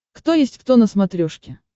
кто есть кто на смотрешке